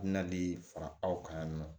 Nali fara aw kan yan nɔ